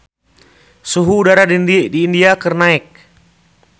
Suhu udara di India keur naek